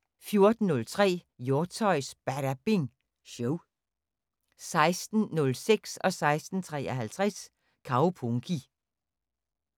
14:03: Hjortshøjs Badabing Show 16:06: Kaupunki 16:53: Kaupunki